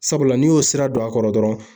Sabula n'i y'o sira don a kɔrɔ dɔrɔn